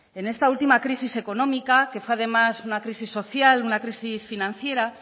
en esta última crisis económica que fue además una crisis social una crisis financiera